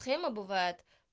схема бывает